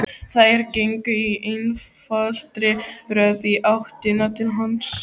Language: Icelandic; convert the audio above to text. Þær gengu í einfaldri röð í áttina til hans.